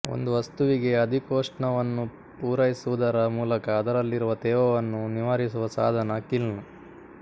ಒಂದು ವಸ್ತುವಿಗೆ ಅಧಿಕೋಷ್ಣವನ್ನು ಪುರೈಸುವುದರ ಮೂಲಕ ಅದರಲ್ಲಿರುವ ತೇವವನ್ನು ನಿವಾರಿಸುವ ಸಾಧನ ಕಿಲ್ನ್